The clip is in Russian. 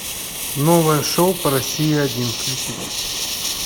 новое шоу по россии один включить